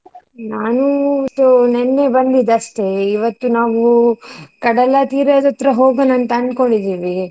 ನಾನೂ ಇದು ನಿನ್ನೆ ಬಂದಿದಷ್ಟೇ ಇವತ್ತು ನಾವು ಕಡಲ ತೀರದತ್ರ ಹೋಗೋಣ ಅಂತ ಅನ್ಕೊಂಡ್ ಇದ್ದೀವಿ.